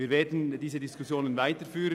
Wir werden diese Diskussion weiterführen.